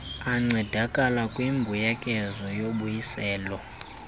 ancedakala kwimbuyekezo yobuyiselo